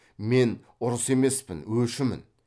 мен ұрысы емеспін өшімін